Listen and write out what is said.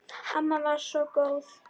Amma var svo góð.